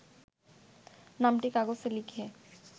নামটি কাগজে লিখে